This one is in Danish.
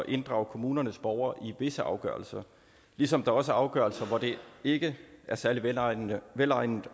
inddrage kommunernes borgere i visse afgørelser ligesom der også er afgørelser hvor det ikke er særlig velegnet velegnet